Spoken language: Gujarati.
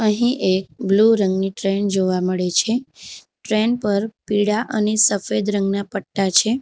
અહીં એક બ્લુ રંગની ટ્રેન જોવા મળે છે ટ્રેન પર પીળા અને સફેદ રંગના પટ્ટા છે.